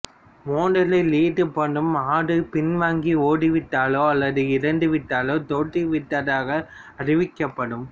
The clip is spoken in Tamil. மோதலில் ஈடுபடும் ஆடு பின்வாங்கி ஓடிவிட்டாலோ அல்லது இறந்துவிட்டாலோ தோற்றுவிட்டதாக அறிவிக்கப்படும்